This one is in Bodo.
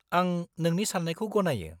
-आं नोंनि सान्नायखौ गनायो।